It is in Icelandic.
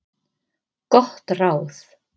Gott ráð